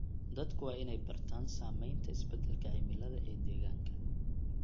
Dadku waa inay bartaan saameynta isbeddelka cimilada ee deegaanka.